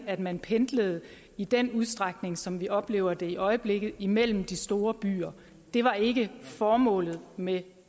at man pendlede i den udstrækning som vi oplever det i øjeblikket imellem de store byer det var ikke formålet med